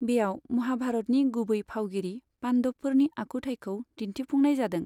बेयाव महाभारतनि गुबै फावगिरि पान्डबफोरनि आखुथाइखौ दिन्थिफुंनाय जादों।